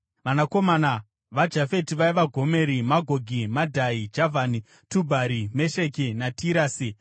Vanakomana vaJafeti vaiva: Gomeri, Magogi, Madhai, Javhani, Tubhari, Mesheki naTirasi.